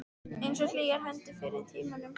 Einsog hlýjar hendurnar fyrr í tímanum.